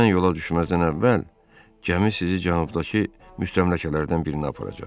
Mən yola düşməzdən əvvəl gəmi sizi cənubdakı müstəmləkələrdən birinə aparacaq.